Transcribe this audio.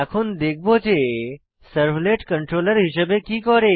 এখন দেখব যে সার্ভলেট কন্ট্রোলার হিসেবে কি করে